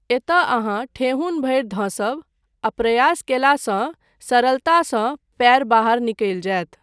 एतय अहाँ ठेहुन भरि धँसब आ प्रयास कयलासँ सरलतासँ पैर बाहर निकलि जायत।